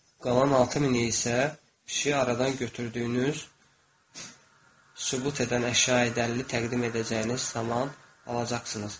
Qalan 6000-i isə pişiyi aradan götürdüyünüz sübut edən əşya-i dəlili təqdim edəcəyiniz zaman alacaqsınız.